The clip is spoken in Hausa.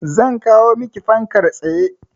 Zan kawo maki fankar tsaye.